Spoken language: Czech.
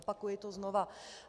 Opakuji to znova.